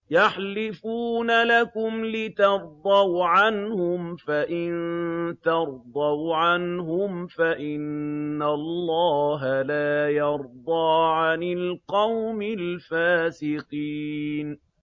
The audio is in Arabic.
يَحْلِفُونَ لَكُمْ لِتَرْضَوْا عَنْهُمْ ۖ فَإِن تَرْضَوْا عَنْهُمْ فَإِنَّ اللَّهَ لَا يَرْضَىٰ عَنِ الْقَوْمِ الْفَاسِقِينَ